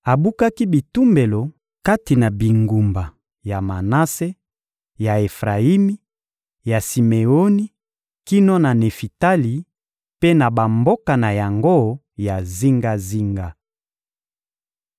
Abukaki bitumbelo kati na bingumba ya Manase, ya Efrayimi, ya Simeoni kino na Nefitali mpe na bamboka na yango ya zingazinga.